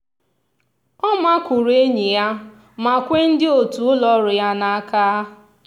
ọ makụrụ enyi ya ma kwe ndị otu ụlọọrụ ya n'aka.